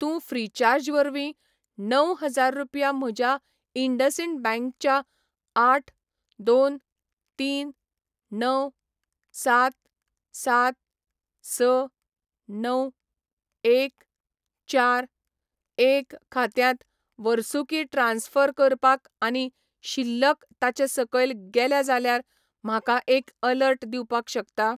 तूं फ्रिचार्ज वरवीं णव हजार रुपया म्हज्या इंडसइंड बँक च्या आठ, दोन, तीन, णव, सात, सात, स, णव, एक, चार, एक खात्यांत वर्सुकी ट्रान्स्फर करपाक आनी शिल्लक ताचे सकयल गेल्या जाल्यार म्हाका एक अलर्ट दिवपाक शकता?